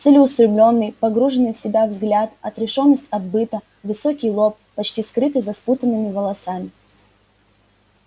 целеустремлённый погруженный в себя взгляд отрешённость от быта высокий лоб почти скрытый за спутанными волосами